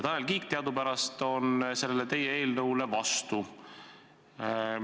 Tanel Kiik teadupärast on sellele teie eelnõule vastu.